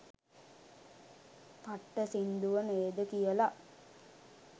පට්ට සින්දුව නේද කියලා